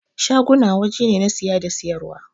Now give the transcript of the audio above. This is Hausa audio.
Shaguna waje ne na siya da siyar wa.